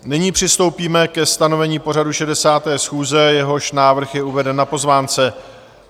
Nyní přistoupíme ke stanovení pořadu 60. schůze, jehož návrh je uveden na pozvánce.